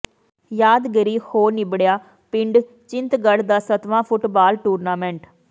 ਯਾਦਗਾਰੀ ਹੋ ਨਿੱਬੜਿਆ ਪਿੰਡ ਚਿੰਤਗੜ੍ਹ ਦਾ ਸੱਤਵਾਂ ਫੁੱਟਬਾਲ ਟੂਰਨਾਮੈਂਟ